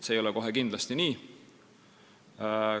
See ei ole kohe kindlasti nii.